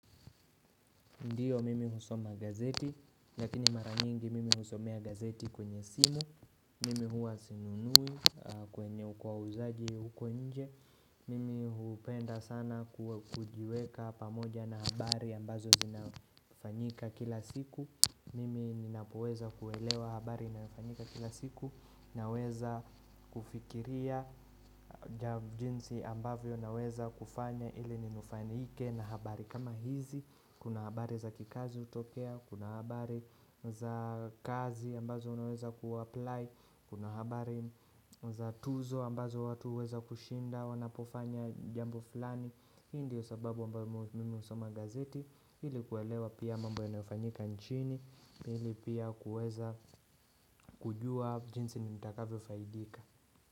Ndio mimi husoma gazeti, lakini mara mingi mimi husomea gazeti kwenye simu Mimi huwa sinunui kwenye wauzaji huko nje Mimi hupenda sana kujiweka pamoja na habari ambazo zinafanyika kila siku Mimi ninapoweza kuelewa habari inayofanyika kila siku Naweza kufikiria jinsi ambavyo naweza kufanya ili ninufaike na habari kama hizi, kuna habari za kikazi hutokea, kuna habari za kazi ambazo unaweza ku-apply, kuna habari za tuzo ambazo watu huweza kushinda wanapofanya jambo fulani. Hii ndio sababu ambayo mimi husoma gazeti ili kuelewa pia mambo yanayofanyika nchini ili pia kuweza kujua jinsi nitakavyofaidika.